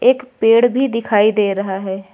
एक पेड़ भी दिखाई दे रहा है।